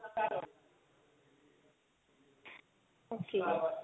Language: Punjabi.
okay